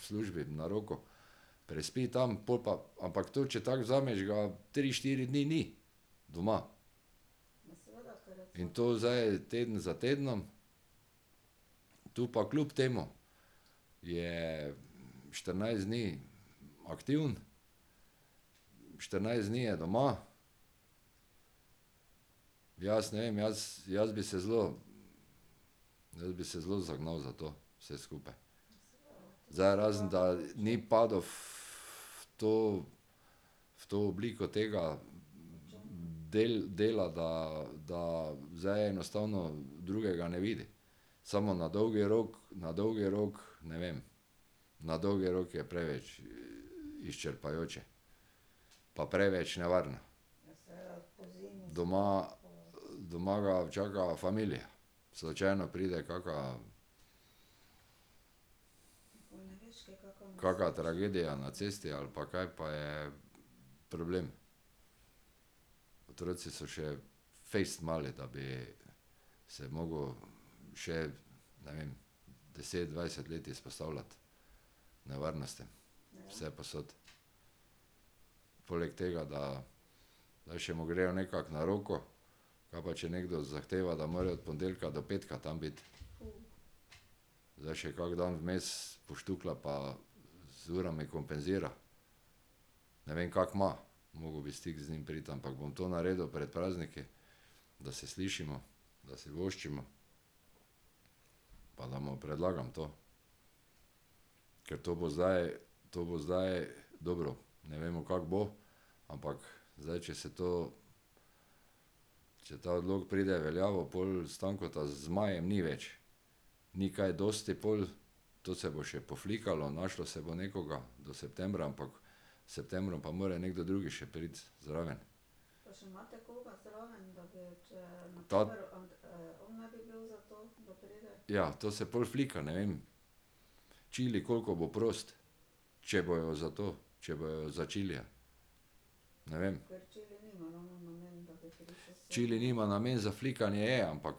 v službi na roko. Prespi tam, pol pa, ampak tu, če tako vzameš, ga tri, štiri dni ni doma. In to zdaj teden za tednom. Tu pa kljub temu je štirinajst dni aktiven, štirinajst dni je doma. Jaz ne vem, jaz, jaz bi se zelo, jaz bi se zelo zagnal za to vse skupaj. Zdaj razen, da ni padel to, v to obliko tega dela, da, da zdaj enostavno drugega ne vidi. Samo na dolgi rok, na dolgi rok, ne vem. Na dolgi rok je preveč izčrpavajoče. Pa preveč nevarno. Doma, doma ga čaka familija. Slučajno pride kaka ... Kaka tragedija na cesti ali pa kaj, pa je problem. Otroci so še fejst mali, da bi se mogel še, ne vem, deset, dvajset let izpostavljati nevarnosti vsepovsod. Poleg tega, da da še mu grejo nekako na roko, kaj pa, če nekdo zahteva, da more od ponedeljka do petka tam biti? Zdaj še kak dan vmes poštukla pa z urami kompenzira. Ne vem, kako ima. Moral bi v stik z njim priti, ampak bom to naredil pred prazniki, da se slišimo, da si voščimo. Pa da mu predlagam to. Ker to bo zdaj, to bo zdaj, dobro, ne vemo, kako bo, ampak zdaj če se to, če ta odlok pride v veljavo, pol Stankota z majem ni več. Ni kaj dosti pol, to se bo še poflikalo, našlo se bo nekoga do septembra, ampak s septembrom pa mora nekdo drugi še priti zraven. Ta ... Ja, to se pol flika, ne vem. Čili, koliko bo prost. Če bojo za to, če bojo za Čilija. Ne vem. Čili nima namen, za flikanje je, ampak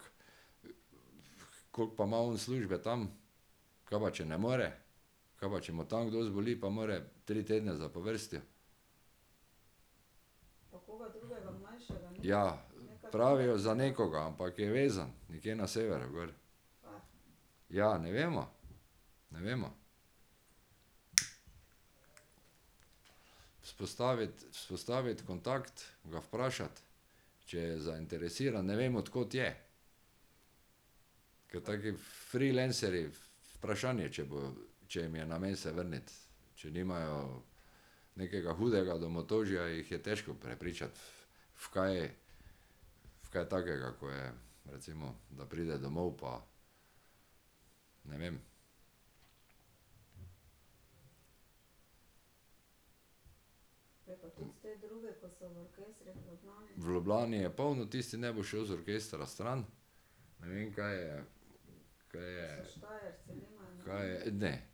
koliko pa ima on službe tam, ka pa, če ne more? Ka pa, če mu tam kdo zboli, pa mora tri tedne zapovrstjo? Ja, pravijo za nekoga, ampak je vezan nekje na severu gor. Ja ne vemo, ne vemo. Vzpostaviti, vzpostaviti kontakt, ga vprašati, če je zainteresiran, ne vem, od kod je. Ker taki freelancerji, vprašanje, če bojo, če jim je namen se vrniti, če nimajo nekega hudega domotožja, jih je težko prepričati v, v kaj. V kaj takega, kot je recimo, da pride domov, pa ne vem. V Ljubljani je polno, tisti ne bo šel iz orkestra stran. Ne vem, kaj je, kaj je ... Kaj je, ne.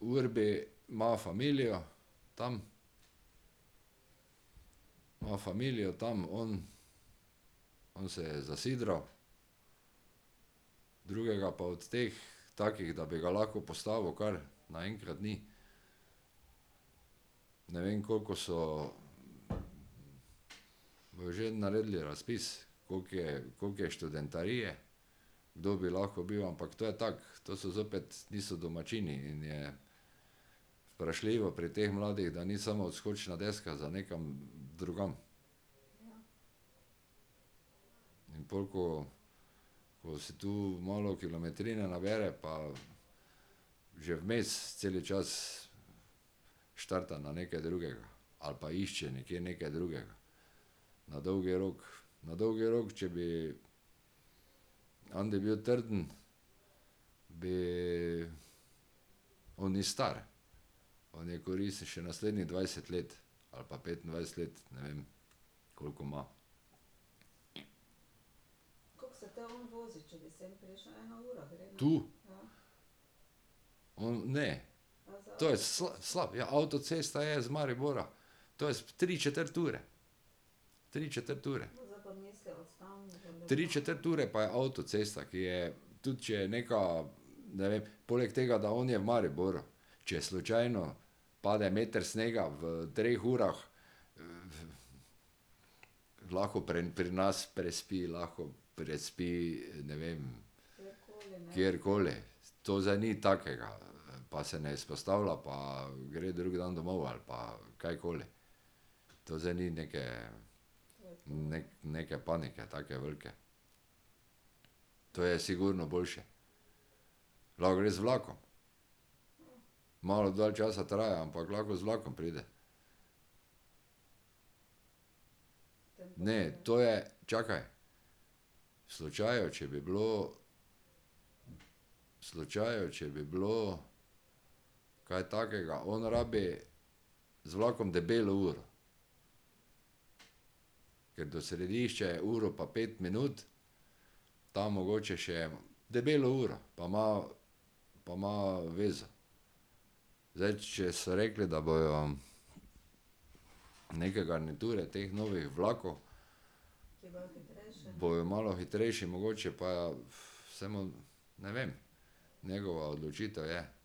Urbi ima familijo tam. Ima familijo tam on. On se je zasidral. Drugega pa od teh, takih, da bi ga lahko poslali v naenkrat, ni. Ne vem, koliko so ... Bojo že naredili razpis, koliko je, koliko je študentarije, kdo bi lahko bil, ampak to je tako, to so zopet, niso domačini in je vprašljivo pri teh mladih, da ni samo odskočna deska za nekam drugam. In pol, ko, ko si tu malo kilometrine nabere pa že vmes celi čas štarta na nekaj drugega. Ali pa išče nekje nekaj drugega. Na dolgi rok, na dolgi rok, če bi ... je bil trdna, bi ... On ni star, on je koristen še naslednjih dvajset let ali pa petindvajset let, ne vem, koliko ima. Tu? On, ne. To je slab, ja avtocesta je z Maribora. To je tri četrt ure, tri četrt ure. Tri četrt ure pa je avtocesta, ki je, tudi če je neka, ne vem, poleg tega, da on je v Mariboru. Če slučajno pade meter snega v treh urah, lahko pri nas prespi, lahko prespi, ne vem. Kjerkoli. To zdaj ni takega, pa se ne izpostavlja, pa gre drug dan domov ali pa kajkoli, to zdaj ni neke, neke panike take velike. To je sigurno boljše. Lahko gre z vlakom. Malo dalj časa traja, ampak lahko z vlakom pride. Ne, to je, čakaj. V slučaju, če bi bilo ... V slučaju, če bi bilo kaj takega, on rabi z vlakom debelo uro. Ker do središče je uro pa pet minut, tam mogoče še ... Debelo uro pa ima, pa ima veze. Zdaj, če so rekli, da bojo neke garniture teh novih vlakov ... Bojo malo hitrejši mogoče pa ... Samo, ne vem. Njegova odločitev je.